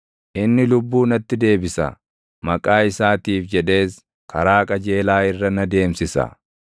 inni lubbuu natti deebisa. Maqaa isaatiif jedhees karaa qajeelaa irra na deemsisa.